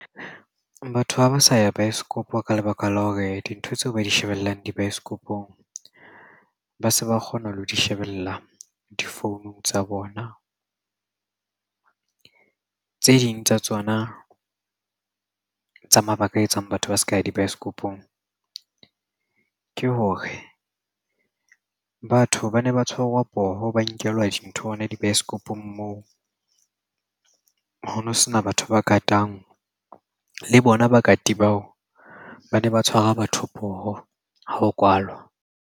Batho ha ba sa ya baesekopo ka lebaka la hore dintho tseo ba di shebellang dibaesekopong ba se ba kgona le ho di shebella difounung tsa bona. Tse ding tsa tsona tsa mabaka a etsang batho ba seka dibaesekopong ke hore batho ba ne ba tshwarwa poho ba nkelwa dintho hona dibaesekopong moo ho no sena batho ba katang le bona ba kati bao ba ne ba tshwara batho poho ha ho kwalwa.